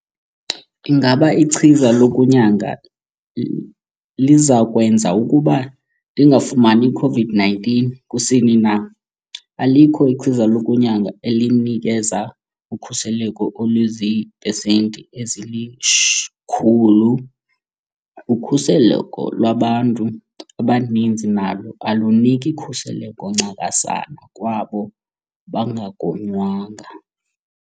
Ingaba ichiza lokugonya lizakwenza ukuba ndingayifumani i-COVID-19 kusini na? Alikho ichiza lokugonya elinikeza ukhuseleko oluzii pesenti ezili-100. Ukhuseleko lwabantu abaninzi nalo aluniki khuseleko ncakasana kwabo bangagonywanga.